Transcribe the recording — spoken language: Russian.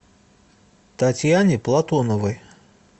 татьяне платоновой